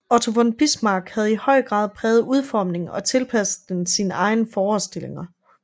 Otto von Bismarck havde i høj grad præget udformningen og tilpasset den sine egne forestillinger